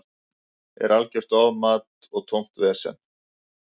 Er algjört ofmat og tómt vesen.